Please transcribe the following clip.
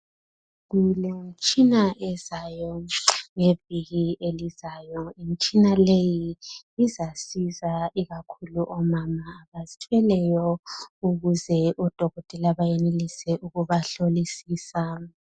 Kulemitshina ezayo ngeviki elizayo, imitshina leyi izasiza ikakhulu omama abazithweleyo ukuze odokotela bayenelise ukubahlolisisa